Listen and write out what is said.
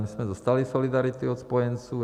My jsme dostali solidaritu od spojenců.